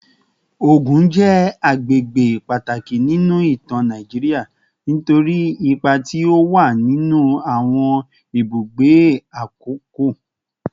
Ogun je agbegbe pataki ninu itan Nigeria nitori ipa ti o wa ninu awon ibugbe akoko